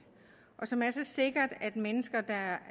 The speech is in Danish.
og som er så sikkert at mennesker der